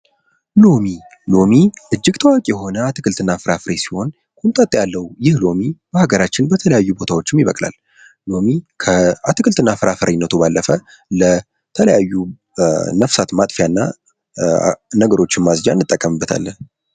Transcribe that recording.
ሎሚ:- ሎሚ እጅግ ታዋቂ የሆነ አትክልት እና ፍራፍሬ ሲሆን ሆምጣጥ ያለዉ ይህ ሎሚ በአገራችን በተለያዩ ቦታዎችም ይበቅላል። ሎሚ ከአትክልትና ፍራፍሬ ባለፈ ለተለያዩ ነፍሳት ማጥፊያ እና ነገሮችን ለማፅጃነት እንጠቀምበታለን።